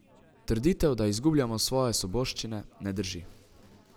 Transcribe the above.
Trditev, da izgubljamo svoje svoboščine, ne drži.